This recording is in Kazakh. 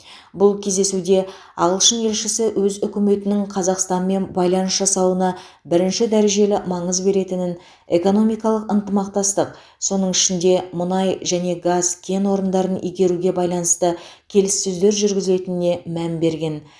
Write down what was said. бұл кездесуде ағылшын елшісі өз үкіметінің қазақстанмен байланыс жасауына бірінші дәрежелі маңыз беретінін экономикалық ынтымақтастық соның ішінде мұнай және газ кен орындарын игеруге байланысты келіссөздер жүргізілетініне мән берген